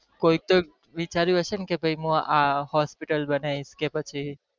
કોઈ ક તો વિચાર્યું હશે ને કે ભાઈ મુ આ hospital બનાવીસ કે પછી